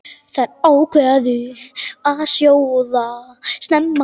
Þær ákváðu að sjóða snemma.